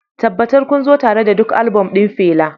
Tabbatar kun zo tare da duk album ɗin Fela